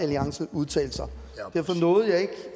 alliance udtalte sig derfor nåede jeg ikke